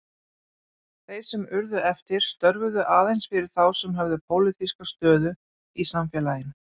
Þeir sem urðu eftir störfuðu aðeins fyrir þá sem höfðu pólitíska stöðu í samfélaginu.